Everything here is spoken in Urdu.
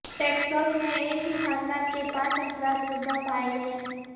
ٹیکساس میں ایک ہی خاندان کے پانچ افراد مردہ پائے گئے